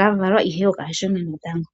kavalwa ihe okashona natango.